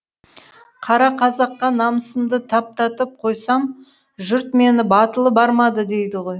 қара қазаққа намысымды таптатып қойсам жұрт мені батылы бармады дейді ғой